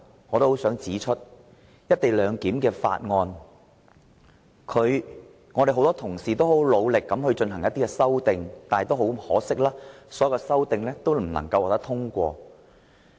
我想指出的第三點，是多位議員皆曾努力對《條例草案》提出修正案，但可惜的是，所有修正案均不獲通過。